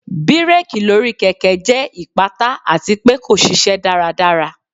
Bireki lori keke jẹ ipata ati pe ko ṣiṣẹ daradara.